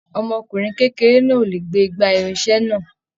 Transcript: Ọmọkùnrin kékeré náà o lè gbé igbá irinṣẹ náà.